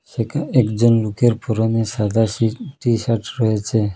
সেখা একজন লোকের পরনে সাদা শি টি-শার্ট রয়েছে।